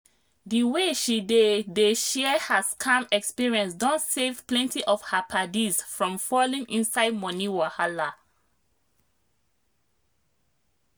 the way she dey dey share her scam experience don save plenty of her paddies from falling inside money wahala.